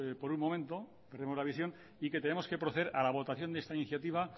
por un momento perdemos la visión y que tenemos que proceder a la votación de esta iniciativa